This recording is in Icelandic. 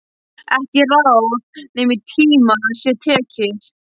Ekki ráð nema í tíma sé tekið.